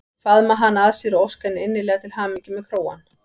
Faðma hana að sér og óska henni innilega til hamingju með krógann.